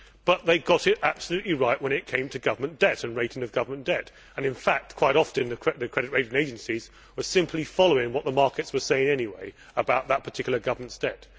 But they got it absolutely right when it came to government debt and the rating of government debt, and in fact quite often the credit rating agencies were simply following what the markets were saying anyway about that particular government's debt.